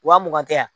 Wa mugan tɛ yan